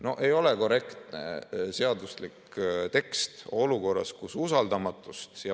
No ei ole korrektne seaduslik tekst olukorras, kus on usaldamatust.